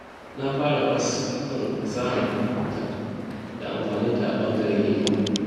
Na fara kwas a kan fasahar kwamfuta da amfaninta a ɓangaren ilimi.